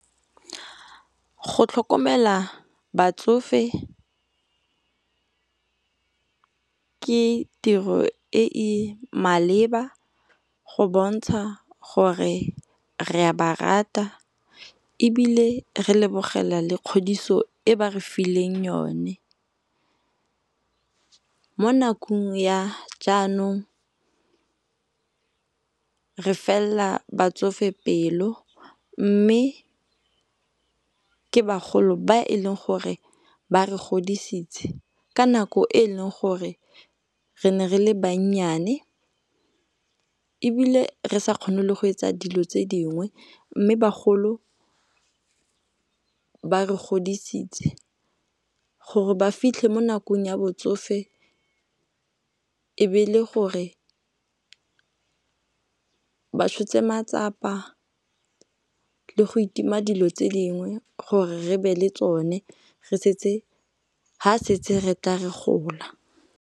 Go tlhokomela batsofe ke tiro e e maleba go bontsha gore re a ba rata ebile re lebogela le kgodiso e ba re fileng yone. Mo nakong ya jaanong re fella batsofe pelo, mme ke bagolo ba e leng gore ba re godisitse ka nako e leng gore re ne re le bannyane ebile re sa kgone le go etsa dilo tse dingwe. Mme bagolo ba re godisitse gore ba fitlhe mo nakong ya botsofe e be le gore ba tshotse matsapa le go itima dilo tse dingwe gore re be le tsone ha setse re ka re gola.